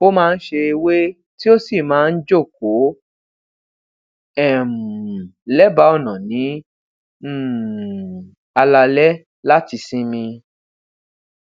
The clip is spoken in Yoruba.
ó máa ń se ewé e e tii ó sì máa ń jókòó um lebaa ona ní um alaalé láti sinmi